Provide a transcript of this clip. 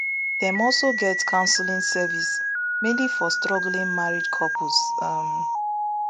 dem also get counselling service mainly for struggling married couples um